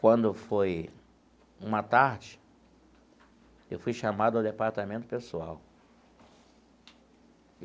Quando foi uma tarde, eu fui chamado ao departamento pessoal.